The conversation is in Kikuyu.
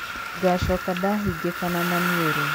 Ngachoka ngahingĩkana maniũrũ.